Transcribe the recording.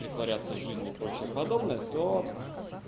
притворяться в жизни и прочее подобное то